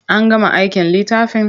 An gama aikin littafin?